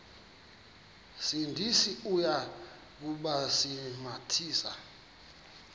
sindisi uya kubasindisa